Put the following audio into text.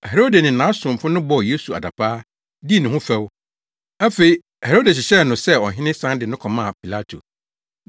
Herode ne nʼasomfo no bɔɔ Yesu adapaa, dii ne ho fɛw. Afei Herode hyehyɛɛ no sɛ ɔhene san de no kɔmaa Pilato.